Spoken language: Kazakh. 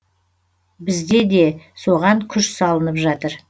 бізде де соған күш салынып жатыр